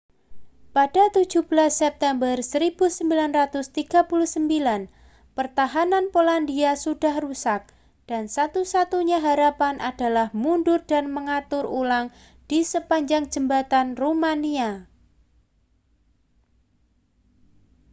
pada 17 september 1939 pertahanan polandia sudah rusak dan satu-satunya harapan adalah mundur dan mengatur ulang di sepanjang jembatan rumania